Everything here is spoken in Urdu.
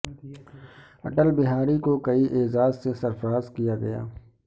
اٹل بہاری کو کئی اعزاز سے سرفرار کیا گیا